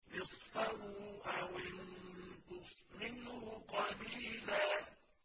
نِّصْفَهُ أَوِ انقُصْ مِنْهُ قَلِيلًا